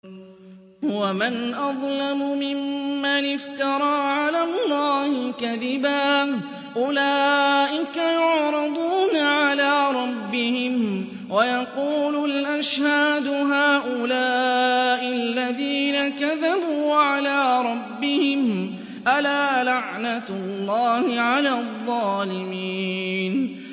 وَمَنْ أَظْلَمُ مِمَّنِ افْتَرَىٰ عَلَى اللَّهِ كَذِبًا ۚ أُولَٰئِكَ يُعْرَضُونَ عَلَىٰ رَبِّهِمْ وَيَقُولُ الْأَشْهَادُ هَٰؤُلَاءِ الَّذِينَ كَذَبُوا عَلَىٰ رَبِّهِمْ ۚ أَلَا لَعْنَةُ اللَّهِ عَلَى الظَّالِمِينَ